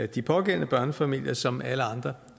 de pågældende børnefamilier som alle andre